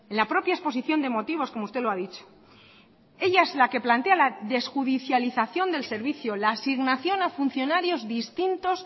la propia exposición de motivos como usted lo ha dicho ella es la que plantea la desjudicialización del servicio la asignación a funcionarios distintos